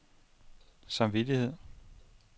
samvittighed